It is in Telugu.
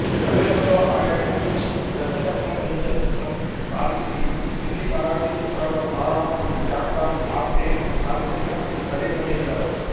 తమిళంలో ఆయన నిర్మించి దర్శకత్వం వహించిన చిత్రం సావిత్రి హిందీ మరాఠీ చిత్రాల తార శాంతా ఆప్టేను సావిత్రిగా నటింపజేశారు